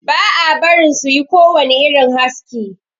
Ba a barin su yi kowani irin haski.